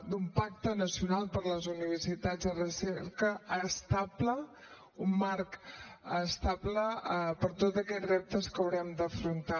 d’un pacte nacional per les universitats de recerca estable un marc estable per a tot aquests reptes que haurem d’afrontar